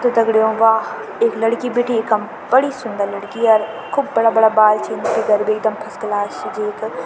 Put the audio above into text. त दगडियों वा इक लड़की बैठीं इखम बड़ी सुन्दर लड़की अर खूब बड़ा बड़ा बाल छिन फिगर भी एकदम फर्स्ट क्लास च जेक।